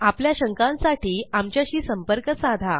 आपल्या शंकांसाठी आमच्याशी संपंर्क साधा